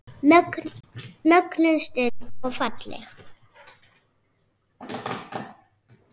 Mögnuð stund og falleg.